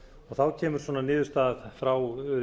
þá kemur niðurstaðan frá